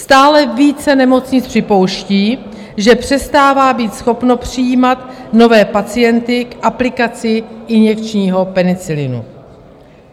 Stále více nemocnic připouští, že přestává být schopno přijímat nové pacienty k aplikaci injekčního penicilinu.